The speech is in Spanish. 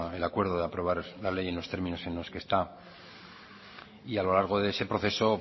el acuerdo de llevar la ley en los términos en los que está y a lo largo de este proceso